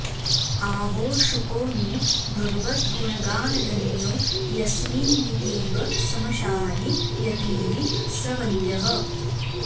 आहो शुको नु भगवद्गुणगानधन्यो यस्मिन्नितीव समशायि यतिः स वन्द्यः